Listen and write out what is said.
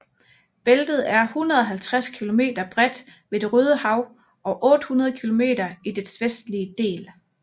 Bæltet er 150 kilometer bredt ved Det Røde Hav og 800 kilometer i dets vestlige del